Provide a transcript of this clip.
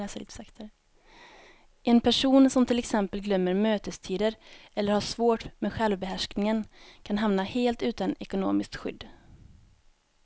En person som till exempel glömmer mötestider eller har svårt med självbehärskningen kan hamna helt utan ekonomiskt skydd.